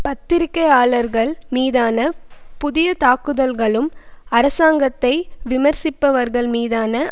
பத்திரிகையாளர்கள் மீதான புதிய தாக்குதல்களும் அரசாங்கத்தை விமர்சிப்பவர்கள் மீதான